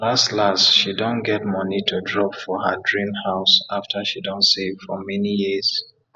las las she don get moni to drop for her drim house after she don save for mani years